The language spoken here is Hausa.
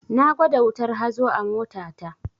Na gwada wutar hazo a mota ta